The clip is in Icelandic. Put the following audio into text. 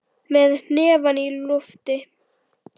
Með hnefann á lofti.